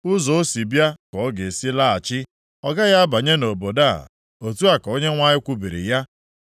Ụzọ o si bịa ka ọ ga-esi laghachi; ọ gaghị abanye nʼobodo a.” Otu a ka Onyenwe anyị kwubiri ya.